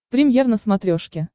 премьер на смотрешке